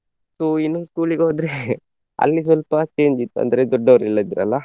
So ಇನ್ನೊಂದು school ಗೆ ಹೋದ್ರೆ ಅಲ್ಲಿ ಸ್ವಲ್ಪ change ಇತ್ತು ಅಂದ್ರೆ ದೊಡ್ಡವರೆಲ್ಲ ಇದ್ರಲ್ಲ.